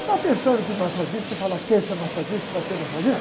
Está pensando que massagista, você fala quer esse é massagista e vai ser massagista?